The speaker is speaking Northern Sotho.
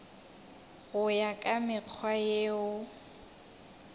go ya ka mekgwa yeo